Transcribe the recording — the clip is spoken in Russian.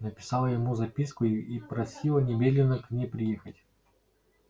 написала ему записку и просила немедленно к ней приехать